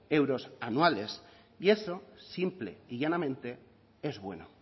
euros anuales y eso simple y llanamente es bueno